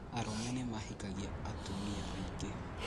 Arũme nĩmahikagia atumia aingĩ